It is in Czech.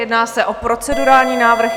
Jedná se o procedurální návrh.